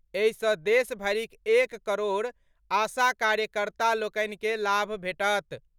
एहि सँ देश भरिक एक करोड़ आशा कार्यकर्ता लोकनि के लाभ भेटत।